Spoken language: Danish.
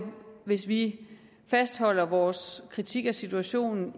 hvis vi i fastholder vores kritik af situationen